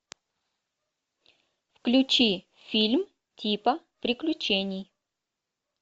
включи фильм типа приключений